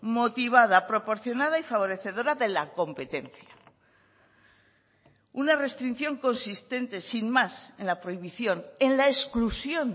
motivada proporcionada y favorecedora de la competencia una restricción consistente sin más en la prohibición en la exclusión